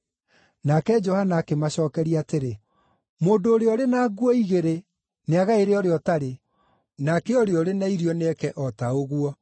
Nake Johana akĩmacookeria atĩrĩ, “Mũndũ ũrĩa ũrĩ na nguo igĩrĩ nĩagaĩre ũrĩa ũtarĩ, nake ũrĩa ũrĩ na irio nĩeke o ta ũguo.”